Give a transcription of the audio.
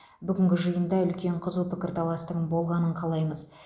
бүгінгі жиында үлкен қызу пікірталастың болғанын қалаймыз